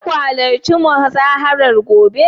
za ku halarci muzaharar gobe?